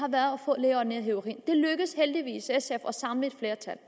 har en af heroin det lykkedes heldigvis sf at samle et flertal